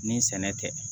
Ni sɛnɛ tɛ